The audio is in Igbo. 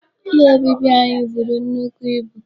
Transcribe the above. Ụlọ obibi anyị buru nnukwu ibu.